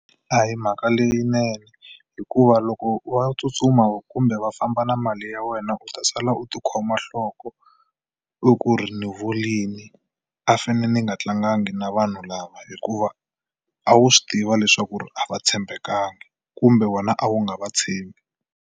A hi mhaka leyinene hikuva loko va tsutsuma kumbe va famba na mali ya wena u ta sala u tikhoma nhloko, u ku ri ni vurile, a ni fanele ni nga tlangangi na vanhu lava. Hikuva a wu swi tiva leswaku ri a va tshembekanga, kumbe wena a wu nga va tshembi.